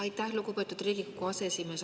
Aitäh, lugupeetud Riigikogu aseesimees!